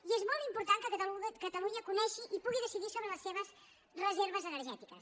i és molt important que catalunya conegui i pugui decidir sobre les seves reserves energètiques